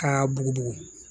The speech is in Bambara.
K'a bugubugu